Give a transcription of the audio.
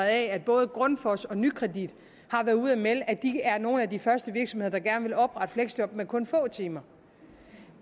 at både grundfos og nykredit har været ude at melde at de er nogle af de første virksomheder der gerne vil oprette fleksjob med kun få timer